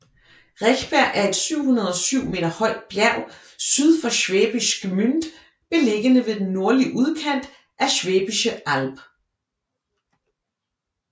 Rechberg er et 707 meter højt bjerg syd for Schwäbisch Gmünd beliggende ved den nordlige udkant af Schwäbische Alb